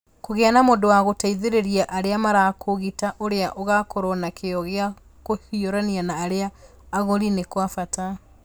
Kũgĩa na mũndũ wa gũteithĩrĩria arĩa marakũũgita ũrĩa ũkoragwo na kĩyo gĩa kũhiũrania na arĩa agũri nĩ kwa bata.